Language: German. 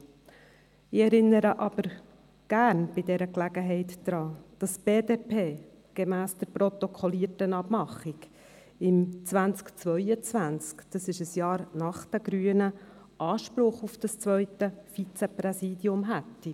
Gerne erinnere ich bei dieser Gelegenheit daran, dass die BDP gemäss der protokollierten Abmachung im Jahr 2020, ein Jahr nach den Grünen, Anspruch auf das zweite Vizepräsidium hätte.